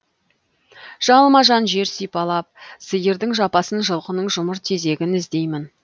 жалма жан жер сипалап сиырдың жапасын жылқының жұмыр тезегін іздеймін